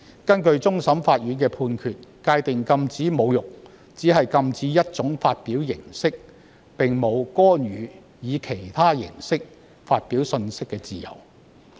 根據終審法院的判決，禁止侮辱只是禁止一種發表形式，並無干預以其他形式發表信息的自由。